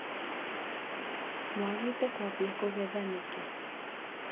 Mwagĩte kwambia kũgetha nĩkĩ.